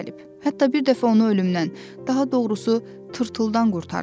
Hətta bir dəfə onu ölümdən, daha doğrusu, tırtıldan qurtarmışam.